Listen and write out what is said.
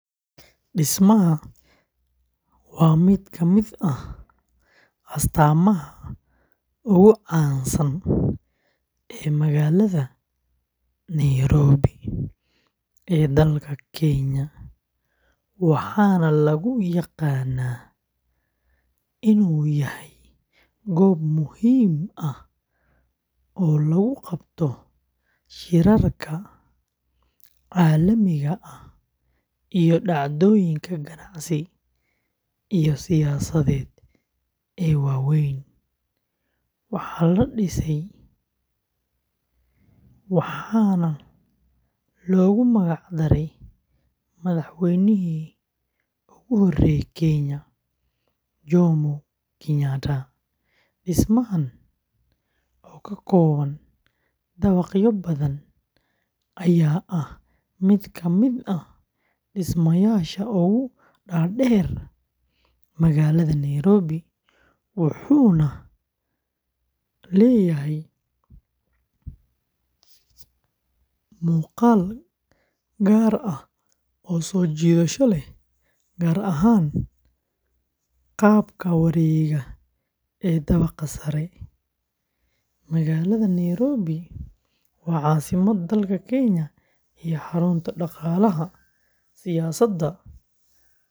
Dhismaha waa mid ka mid ah astaamaha ugu caansan ee magaalada Nairobi ee dalka Kenya, waxaana lagu yaqaanaa inuu yahay goob muhiim ah oo lagu qabto shirarka caalamiga ah iyo dhacdooyinka ganacsi iyo siyaasadeed ee waaweyn, waxaa la dhisay waxaana loogu magac daray madaxweynihii ugu horreeyay Kenya, Jomo Kenyatta. Dhismahan oo ka kooban, ayaa ah mid ka mid ah dhismayaasha ugu dhaadheer magaalada Nairobi, wuxuuna leeyahay muuqaal gaar ah oo soo jiidasho leh, gaar ahaan qaabka wareega ee dabaqa sare. Magaalada Nairobi waa caasimadda dalka Kenya iyo xarunta dhaqaalaha, siyaasadda.